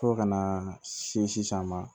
Fo ka na se sisan ma